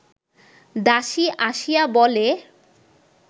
দাসী আসিয়া বলে